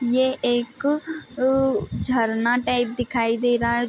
ये एक अअअ झरना टाइप दिखाई दे रहा है।